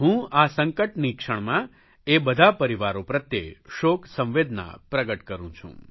હું આ સંકટની ક્ષણમાં એ બધા પરિવારો પ્રત્યે શોકસંવેદના પ્રગટ કરૂં છું